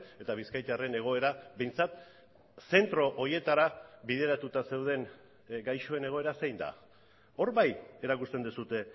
eta bizkaitarren egoera behintzat zentro horietara bideratuta zeuden gaixoen egoera zein da hor bai erakusten duzue